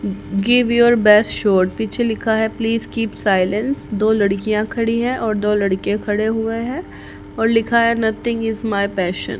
give your best shot पीछे लिखा है प्लीज कीप साइलेंस दो लड़कियां खड़ी है और दो लड़के खड़े हुए हैं और लिखा है नथिंग इज माय पैशन --